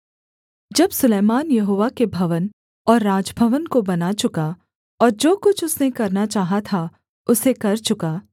जब सुलैमान यहोवा के भवन और राजभवन को बना चुका और जो कुछ उसने करना चाहा था उसे कर चुका